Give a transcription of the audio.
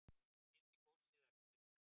Skildi góssið eftir